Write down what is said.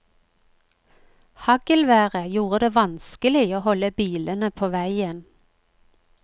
Haglværet gjorde det vanskelig å holde bilene på veien.